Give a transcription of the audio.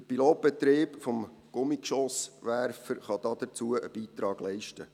Der Pilotbetrieb des Gummigeschosswerfers kann dazu einen Beitrag leisten.